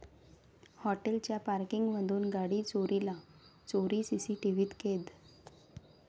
हॉटेलच्या पॉर्किंगमधून गाडी चोरीला, चोरी सीसीटीव्हीत कैद